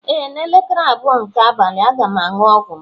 Ee, n'elekere abụọ nke abalị, a ga m aṅụ ọgwụ m